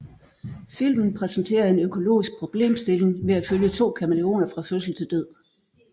Filmen præsenterer en økologisk problemstilling ved at følge to kamæleoner fra fødsel til død